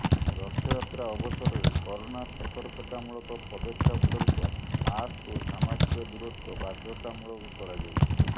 ରଥଯାତ୍ରା ଅବସରରେ କରୋନା ସତ୍ତର୍କତାମୂଳକ ପଦକ୍ଷେପ ସୂରୁପ ମାସ୍କ ଓ ସାମାଜିକ ଦୂରତ୍ୱ ବାଧ୍ୟତାମୂଳକ କରାଯାଇଛି